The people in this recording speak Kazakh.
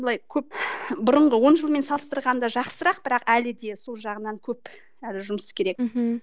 былай көп бұрынғы он жылмен салыстырғанда жақсырақ бірақ әлі де сол жағынан көп әлі жұмыс керек мхм